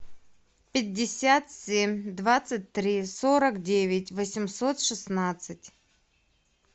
пятьдесят семь двадцать три сорок девять восемьсот шестнадцать